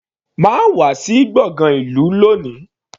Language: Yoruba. Má wà sí gbọ̀ngán ìlú lóni.